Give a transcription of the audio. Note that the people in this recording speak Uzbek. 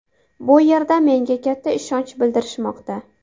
Bu yerda menga katta ishonch bildirishmoqda.